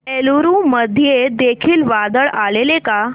एलुरू मध्ये देखील वादळ आलेले का